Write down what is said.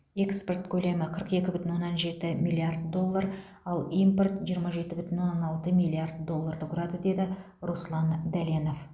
экспорт көлемі қырық екі бүтін оннан жеті миллиард доллар ал импорт жиырма жеті бүтін оннан алты миллиард долларды құрады деді руслан дәленов